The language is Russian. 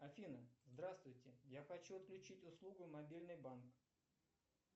афина здравствуйте я хочу отключить услугу мобильный банк